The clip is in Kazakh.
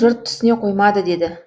жұрт түсіне қоймады деді